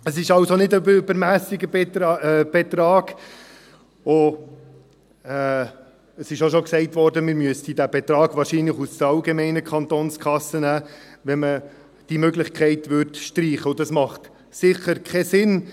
Es ist also nicht ein übermässiger Betrag, und es wurde auch schon gesagt, dass man diesen Betrag wahrscheinlich aus der allgemeinen Kantonskasse nehmen müsste, wenn man diese Möglichkeit streichen würde, und das ergibt sicher keinen Sinn.